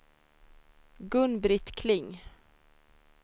Gun-Britt Kling